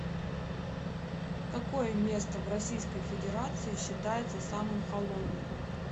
какое место в российской федерации считается самым холодным